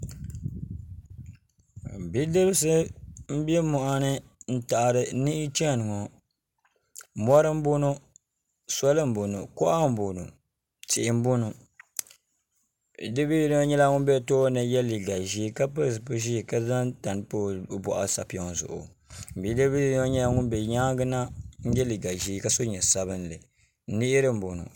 bidibsi n bɛ moɣani n taɣari niɣi chɛni ŋɔ mori n bɔŋɔ soli n bɔŋɔ kuɣa n bɔŋɔ tihi n bɔŋɔ bidib yinga nyɛla ŋun bɛ tooni yɛ liiga ʒiɛ ka pili zipili ʒiɛ ka zaŋ tani pa o boɣu sapiŋ zuɣu bidib bili yinga nyɛla ŋun bɛ nyaangi na n yɛ liiga ʒiɛ ka so jinjɛm sabinli niɣiri n bɔŋɔ